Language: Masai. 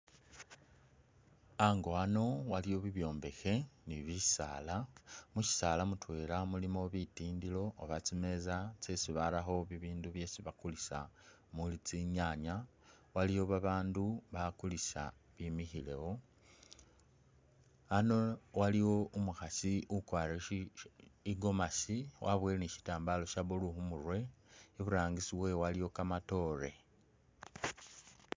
Ango wano waliwo bibyombekhe ni bisaala, musyisaali mutwela mulimu bitindilo oba tsimeeza tsesi barakho bibindu byesi bakulisa mulu tsinyaanya, waliwo babandu bakulisa bimikhilewo. Ano waliwo umukhasi ukwarire shi gomasi, waboyile ni syitambaala sya blue khu murwe, iburangisi we waliwo kamatoore.